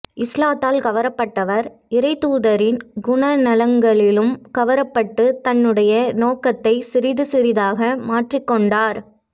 இஸ்லாத்தால் கவரப்பட்டவர் இறைத்தூதரின் குணநலன்களாலும் கவரப்பட்டுத் தன்னுடைய நோக்கத்தைச் சிறிது சிறிதாக மாற்றிக் கொண்டார்